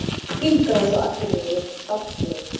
Hringrás á Akureyri veitt starfsleyfi